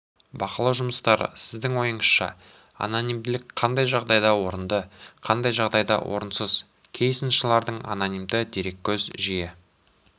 бақылау жұмыстары сіздің ойыңызша анонимділік қандай жағдайда орынды қандай жағдайда орынсыз кей сыншылардың анонимді дереккөз жиі